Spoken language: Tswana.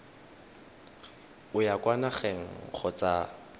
o ya kwa nageng kgotsa